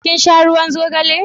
kin sha ruwan zogale?